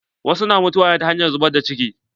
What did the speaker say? Wasu na mutuwa ne ta hanyar zubar da ciki.